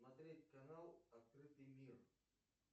смотреть канал открытый мир